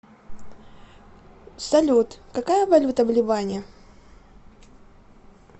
салют какая валюта в ливане